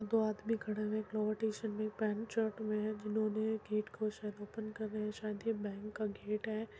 दो आदमी खड़े हुए हैं । एक लोवर टी-शर्ट और एक पेंट शर्ट में है। जिन्होंने गेट को शायद ओपन कर रहे है शायद यह बैंक का गेट है।